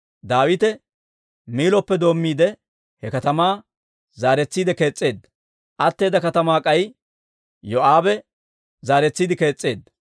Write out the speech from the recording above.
Daawite Miilloppe doommiide, he katamaa zaaretsiide kees's'eedda; atteeda katamaa k'ay Yoo'aabe zaaretsiide kees's'eedda.